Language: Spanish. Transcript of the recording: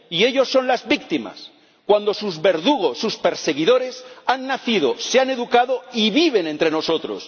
Y ellos son las víctimas, cuando sus verdugos, sus perseguidores han nacido, se han educado y viven entre nosotros.